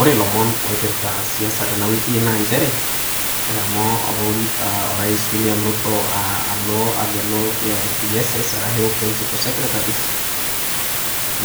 Ore ilomon oipirita siasa tena wiki naa nchere eshomo opa orais William Ruto alo ag'elu ps's arashu principal secretaries,